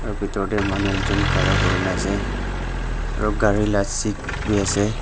aro bitor de manu ekjun khara kuri na ase aro gari la seat b ase.